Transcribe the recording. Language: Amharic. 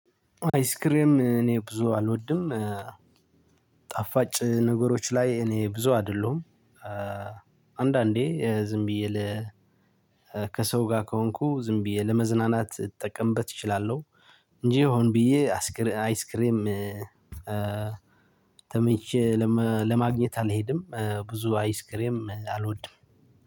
አይስክሬም እኔ ብዙ አልወድም ጣፋጭ ነገሮች ላይ እኔ ብዙ አይደለሁም። አንዳንዴ ዝም ብዬ ከሰው ጋር ከሆንኩ ዝም ብዬ ለመዝናናት እጠቀምበት እችላለሁ። እንጂ ሆን ብዬ አይስክሬም ተመኝቼ ለማግኘት አልሄድም ብዙ አይስክሬም አልወድም።